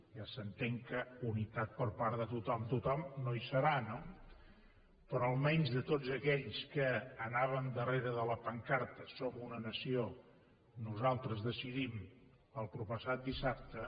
ja s’entén que unitat per part de tothom tothom no hi serà no però almenys de tots aquells que anàvem darrere de la pancarta som una nació nosaltres decidim el proppassat dissabte